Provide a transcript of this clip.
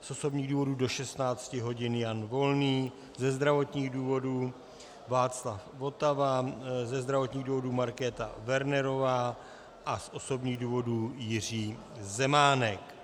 z osobních důvodů do 16 hodin Jan Volný, ze zdravotních důvodů Václav Votava, ze zdravotních důvodů Markéta Wernerová a z osobních důvodů Jiří Zemánek.